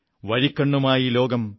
വഴിക്കണ്ണുമായി ലോകം